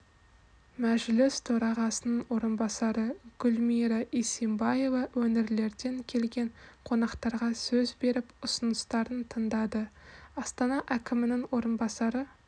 мәжіліс төрағасының орынбасары гүлмира исимбаева өңірлерден келген қонақтарға сөз беріп ұсыныстарын тыңдады астана әкімінің орынбасары